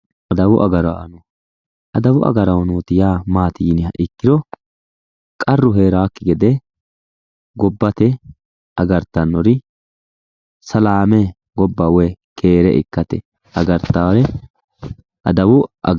Adawu agaraano adawu agaraano maati yiniha ikkiro qarru heeraakki gede gobba agartannori gobba keere ikkate agartannore adawu agaraanooti yinanni.